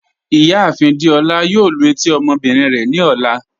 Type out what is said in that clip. Ìyáàfin Dèolá yóò lú etí ọmọbìnrin rẹ ni ọlá.